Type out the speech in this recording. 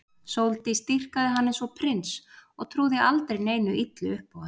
Sóldís dýrkaði hann eins og prins og trúði aldrei neinu illu upp á hann.